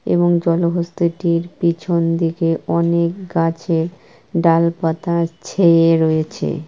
এবং জলহস্তীটির পিছন দিকে অনেক গাছের ডাল পাতা ছেঁয়ে রয়েছে ।